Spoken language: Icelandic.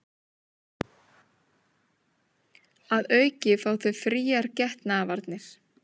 Að auki fá þau fríar getnaðarvarnir